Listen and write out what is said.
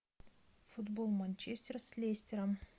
футбол манчестер с лестером